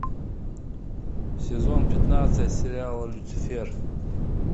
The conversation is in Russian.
сезон пятнадцать сериала люцифер